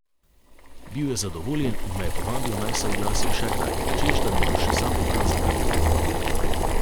Bil je zadovoljen in me je povabil, naj se oglasim še kdaj, češ da mi bo še sam pokazal kak trik.